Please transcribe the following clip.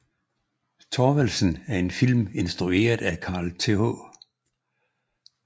Thorvaldsen er en film instrueret af Carl Th